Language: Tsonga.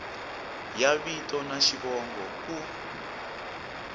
ya vito na xivongo ku